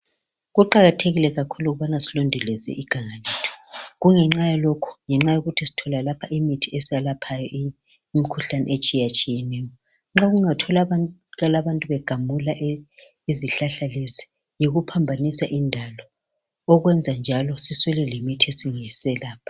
Kuqakathekile kakhulu ukubana silondoloze iganga kungenxa yalokhu ngenxa yokuthi sithola lapha imithi eselaphayo imikhuhlane etshiyetshiyeneyo. Nxa kungatholakala abantu begamula izihlahla lezi yikuphambanisa indalo okwenza njalo siswele lemithi engaselapha.